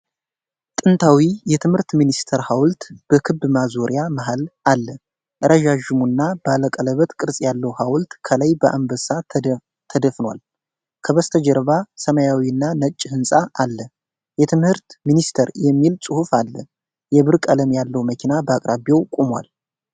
ጥንታዊው የትምህርት ሚኒስቴር ሐውልት በክብ ማዞሪያ መሀል አለ። ረዣዥሙና ባለቀለበት ቅርጽ ያለው ሐውልት ከላይ በአንበሳ ተደፍኗል። ከበስተጀርባ ሰማያዊና ነጭ ሕንጻ ላይ "የትምህርት ሚኒስቴር" የሚል ጽሑፍ አለ። የብር ቀለም ያለው መኪና በአቅራቢያው ቆሟል።